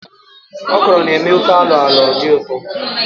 Òkòrō na-eme ofe alo-alo dị ụtọ.